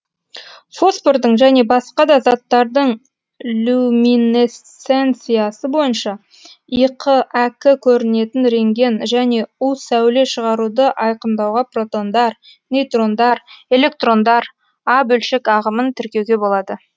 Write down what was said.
фосфордың және басқа да заттардың люминесценциясы бойынша иқ әк көрінетін рентген және у сәуле шығаруды айкындауға протондар нейтрондар электрондар а бөлшек ағымын тіркеуге болады